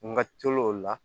N ka tel'o la